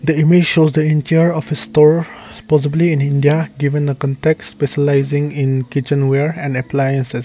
the image shows entire of a store possibly in india given the compacts specialising in kitchen wear and appliances.